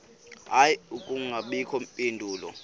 hayi akubangakho mpendulo